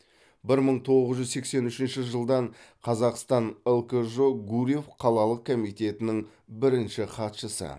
бір мың тоғыз жүз сексен үшінші жылдан қазақстан лкжо гурьев қалалық комитетінің бірінші хатшысы